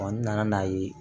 n nana n'a ye